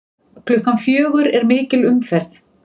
Klukkan fjögur er mikil umferð.